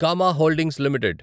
comma holdings limited